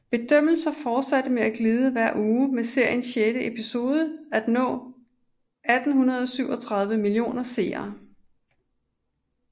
Bedømmelser fortsatte med at glide hver uge med serien sjette episode nå 1837 millioner millioner seere